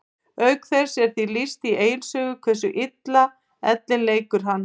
Auk þess er því lýst í Egils sögu hversu illa ellin leikur hann.